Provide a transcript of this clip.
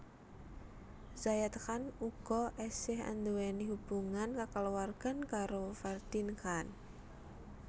Zayed Khan uga esih anduweni hubungan kakaluwargan karo Ferdeen Khan